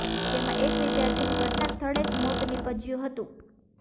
જેમાં એક વિદ્યાર્થીનું ઘટના સ્થળે જ મોત નિપજ્યુ હતુ